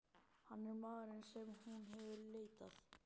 Hann er maðurinn sem hún hefur leitað.